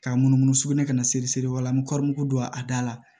K'a munumunu sugunɛ ka na seri seri wa la n bɛ kɔɔri mugu don a da la